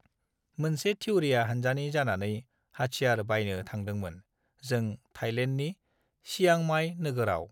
मोनसे थिउरिया हानजानि जानानै हथियार बायनो थांदोंमोन जों थाइलेण्डनि सिंयांमाइ नोगोराव